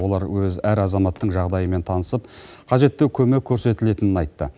олар өз әр азаматтың жағдайымен танысып қажетті көмек көрсетілетінін айтты